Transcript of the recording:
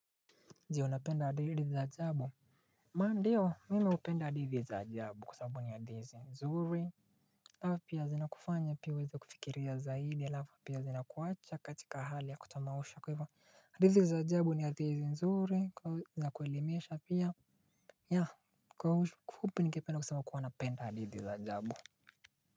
Ndiyo, napenda hadithi za ajabu ndiyo mimi hupenda hadithi za ajabu kusamabu ni hadithi nzuri halafu pia zinakufanya pia uweze kufikiria zaidi halafu pia zinakuwacha katika hali ya kutamausha kwa hivyo hadithi za ajabu ni hadithi nzuri kwa za kuelimesha pia. Ya kwa ufupi ningependa kusema kuwa napenda hadithi za ajabu. Kwa hivyo.